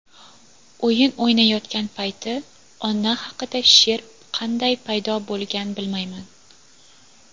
o‘yin o‘ynayotgan payti ona haqida she’r qanday paydo bo‘lgan bilmayman..